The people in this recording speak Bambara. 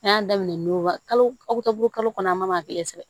An y'a daminɛ n'o ka kalo ka bolo kalo kɔnɔ an ma kelen sɛgɛn